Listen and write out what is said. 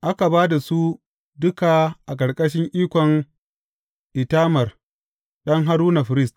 Aka ba da su duka a ƙarƙashin ikon Itamar ɗan Haruna, firist.